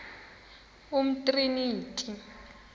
umtriniti